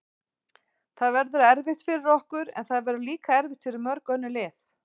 Það verður erfitt fyrir okkur, en það verður líka erfitt fyrir mörg önnur lið.